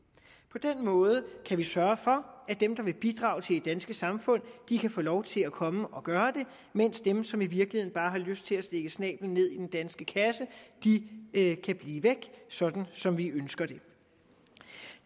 på den måde kan vi sørge for at dem der vil bidrage til det danske samfund kan få lov til at komme og gøre det mens dem som i virkeligheden bare har lyst til at stikke snablen ned i den danske kasse kan blive væk sådan som vi ønsker det